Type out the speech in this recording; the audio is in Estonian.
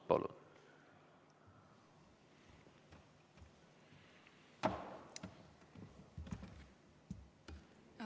Palun!